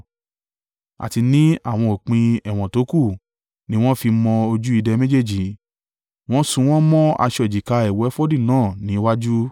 àti ní àwọn òpin ẹ̀wọ̀n tókù ni wọ́n fi mọ ojú ìdè méjèèjì, wọ́n so wọ́n mọ́ aṣọ èjìká ẹ̀wù efodu náà ní iwájú.